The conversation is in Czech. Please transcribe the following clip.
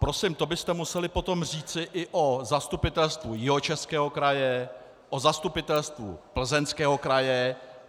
Prosím, to byste museli potom říci i o Zastupitelstvu Jihočeského kraje, o Zastupitelstvu Plzeňského kraje.